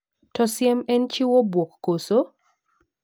To siem en chiwo buok koso?